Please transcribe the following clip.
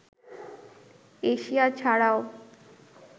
Asia ছাড়াও